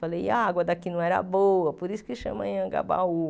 Falei, e a água daqui não era boa, por isso que chamam em Aiangabaú.